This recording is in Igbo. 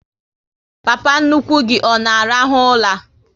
Papa nnukwu gị ọ na arahu ụla?